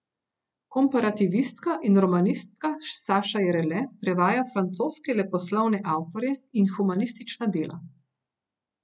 Komparativistka in romanistka Saša Jerele prevaja francoske leposlovne avtorje in humanistična dela.